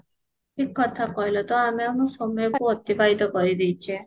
ଠିକ କଥା କହିଲ ତ ଆମେ ଆମର ସମୟକୁ ଅତିବାହିତ କରିଦେଇଚେ